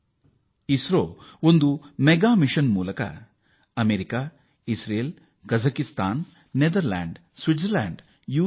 ಈ ಉಪಗ್ರಹಗಳು ವಿವಿಧ ರಾಷ್ಟ್ರಗಳಿಗೆ ಅಂದರೆ America Israel Kazakhstan Netherlands Switzerland you